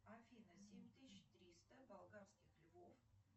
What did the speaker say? афина семь тысяч триста болгарских львов